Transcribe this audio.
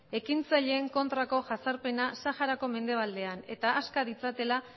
ekintzaileen kontrako jazarpena saharako mendebaldean eta aska ditzatela